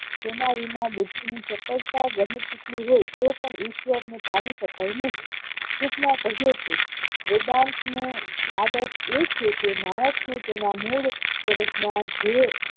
તેના વિના બુદ્ધિની ચપળતા ગમે તેટલી હોઈ તો પણ ઈશ્વર ને પામી શકાય નહિ ટૂંકમાં કહિયે તો વેદાંત નો આદર્શ એ છે કે માણસ ને તેના મૂળ સ્વરૂપ જીવે